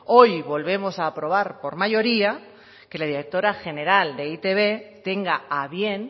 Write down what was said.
hoy volvemos a aprobar por mayoría que la directora general de e i te be tenga a bien